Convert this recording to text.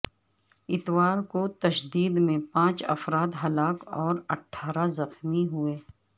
اتوار کو تشدد میں پانچ افراد ہلاک اور اٹھارہ زخمی ہوئے